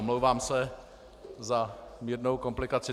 Omlouvám se za mírnou komplikaci.